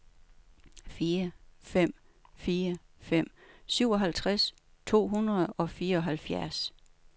fire fem fire fem syvoghalvtreds to hundrede og fireoghalvfjerds